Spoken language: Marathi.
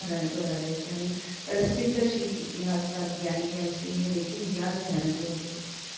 घराण्यातून आले होते आणि प्रसिद्ध शिख इतिहासकार ग्यानी ग्यानसींह हे देखील ह्याच घराण्यातील होते.